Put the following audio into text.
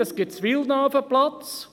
Es gibt in Villeneuve einen Platz.